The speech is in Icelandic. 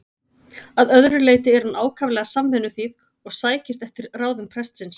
Að öðru leyti er hún ákaflega samvinnuþýð og sækist eftir ráðum prestsins.